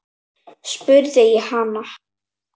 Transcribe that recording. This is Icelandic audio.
spurði ég hana.